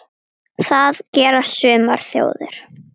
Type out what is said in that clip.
Það gera sumar þjóðir.